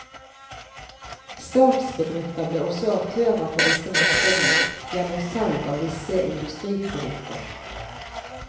Statsbedrifter ble også aktører på disse markedene gjennom salg av visse industriprodukter.